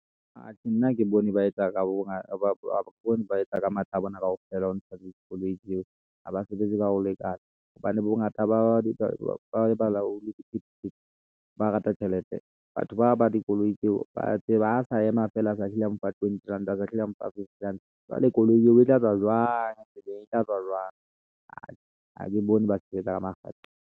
Atjhe! nna ha ke bone ba etsa ka matla a bona kaofela ho ntsha dikoloi tseo ha ba sebetsi ka ho lekana hobane bongata ba balaola sephethephethe, ba rata tjhelete, batho ba ba dikoloi tseo ba tseba ha a sa ema feela a sa hlile a mpha twenty rand, a sa hlile a mpha fifty rand, jwale koloi eo e tla tswa jwang? tseleng e tla tswa jwang? ha ke bone ba sebetsa ka makgethe.